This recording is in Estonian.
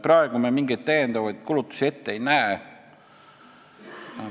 Praegu me mingeid lisakulutusi ette ei näe.